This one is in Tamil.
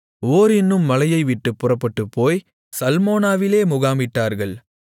ஓர் என்னும் மலையை விட்டுப் புறப்பட்டுப்போய் சல்மோனாவிலே முகாமிட்டார்கள்